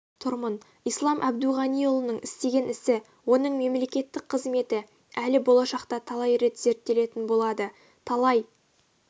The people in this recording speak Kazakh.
тұрмын ислам әбдуғаниұлының істеген ісі оның мемлекеттік қызметі әлі болашақта талай рет зерттелетін болады талай